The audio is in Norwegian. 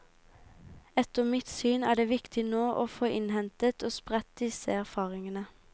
Etter mitt syn er det viktig nå å få innhentet og spredt disse erfaringene.